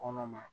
Kɔnɔ ma